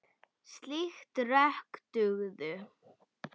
Slík rök dugðu.